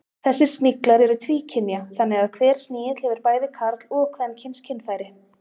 Þessir sniglar eru tvíkynja þannig að hver snigill hefur bæði karl- og kvenkyns kynfæri.